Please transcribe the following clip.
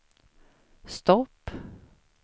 stopp